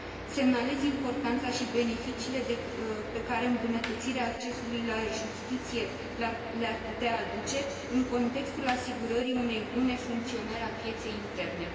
Semnalez importanța și beneficiile pe care îmbunătățirea accesului la justiție le ar putea aduce, în contextul asigurării unei bune funcționări a pieței interne.